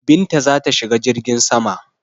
Binta za ta shiga jirgin saman.